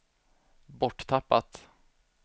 borttappat